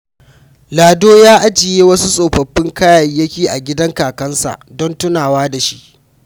Lado ya ajiye wasu tsofaffin kayayyaki a gidan kakansa don tunawa da shi.